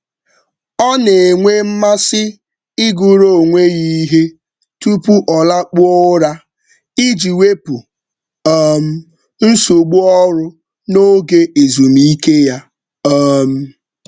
Ọ na-enwe mmasị ịgụrụ onwe ya ihe tupu ọ lakpuo ụra iji wepụ um nsogbu ọrụ n'oge ezumike ya. um